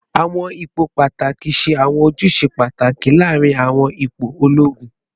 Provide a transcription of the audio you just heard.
Awọn ipo pataki ṣe awọn ojuse pataki laarin awọn ipo ologun